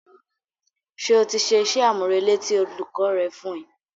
Ṣé o ti ṣe iṣẹ́ àmúrelé tí olùkọ́ rẹ fún ẹ.